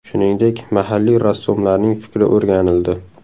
Shuningdek, mahalliy rassomlarning fikri o‘rganildi.